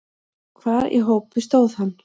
Hvar í hópi stóð hann?